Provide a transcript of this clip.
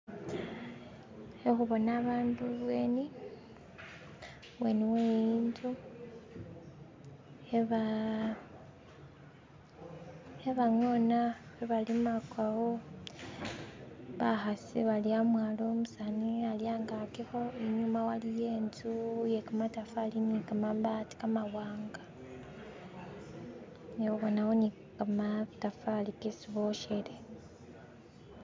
Khakhubona abandu i'bweni we'nzu kheba ngona, kheba limakawo bakhasi bali amwalo umusani ali angakikho, inyuma waliyo i'nzu ye kamatafali ili ne kamabaati kamawanga, nabonakho ne kamatafali kesi boshele.